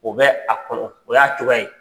O bɛ a kɔnɔ , o y'a cogoya ye.